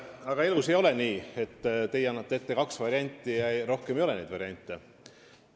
Aga elus ei ole nii, et teie annate ette kaks varianti ja rohkem variante ei ole.